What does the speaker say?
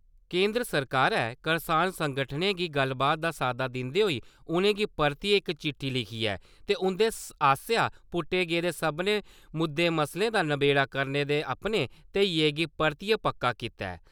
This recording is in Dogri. केंदर सरकारै करसान संगठनें गी गल्लबात दा साद्दा दिन्दे होई उ'नेंगी परतियै इक चिट्ठी लिखी ऐ ते उं'दे आसेआ पुट्टे गेदे सभनें मुद्दे मसलें दा नबेड़ा करने दे अपने धेइयै गी परतियै पक्का कीता ऐ।